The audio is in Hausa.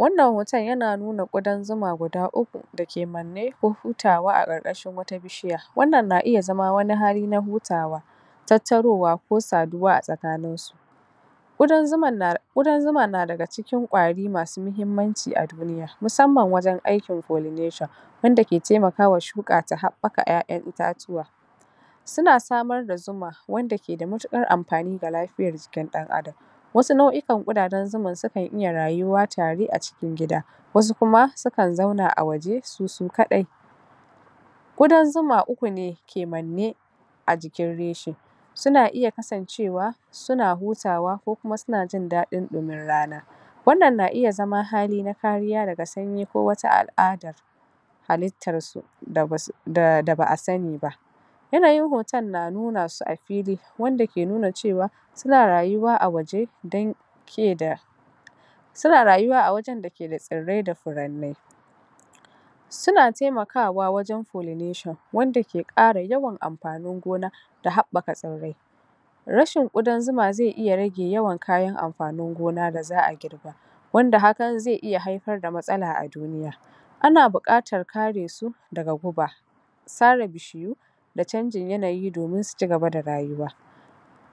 wannan hoton yana nuna ƙudan zuma guda uku (3) dake manne don hutawa a ƙarƙashin wata bishiya wannan na iya zama wani hali na hutawa tattaruwa ko saduwa a tsakanin su ƙudan zuman na ƙudan zuma na daga cikin ƙwari masu mahimmanci a duniya musamman wajen aikin pollination wanda ke temaka wa shuka ta haɓɓaka ƴaƴan itatuwa suna samar da zuma wanda ke da matuƙar amfani ga lafiyar jikin ɗan Adam wasu nau'ikan ƙudajen zuman sukan iya rayuwa tare a cikin gida wasu kuma su kan zauna a waje su su kaɗai ƙudan zuma uku ne ke manne a jikin reshe suna iya kasancewa suna hutawa ko kuma suna jin daɗin ɗumin rana wannan na iya zama hali na kariya daga sanyi ko wata al'adar halittar su da ba'a sani ba yanayin hoton na nuna su a fili wanda ke nuna cewa suna rayuwa a waje dan ke da suna rayuwa a wajen da ke da tsirrai da furannai suna temakawa wajen pollination wanda ke ƙara yawan amfanin gona da haɓɓaka tsirrai rashin ƙudan zuma ze iya rage yawan kayan amfanin gona da za'a girba wanda hakan ze iya haifar da matsala a duniya ana buƙatar kare su daga guba sare bishiyu da canjin yanayi domin su cigaba da rayuwa